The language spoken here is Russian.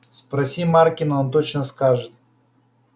спроси маркина он точно скажет